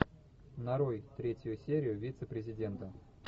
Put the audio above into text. нарой третью серию вице президента